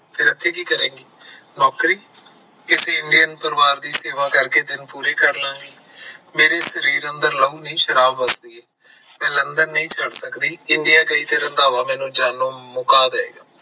ਫਿਰ ਇੱਥੇ ਕੀ ਕਰੇਗੀ, ਨੌਕਰੀ ਕਿਸੇ Indian ਪਰਿਵਾਰ ਦੀ ਸੇਵਾ ਕਰਕੇ ਦਿਨ ਪੂਰੇ ਕਰ ਲਾਂਗੀ। ਮੇਰੇ ਸਰੀਰ ਅੰਦਰ ਲਹੂ ਨਹੀਂ ਸ਼ਰਾਬ ਵਗਦੀ ਐ। ਮੈਂ london ਨਹੀਂ ਜਾ ਸਕਦੀ India ਗਈ ਤਾਂ ਰੰਧਾਵਾ ਮੈਨੂੰ ਜਾਨੋ ਮੁਕਾ ਦੇਏਗਾ